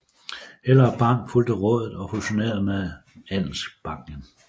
Hellerup Bank fulgte rådet og fusionerede med Andelsbanken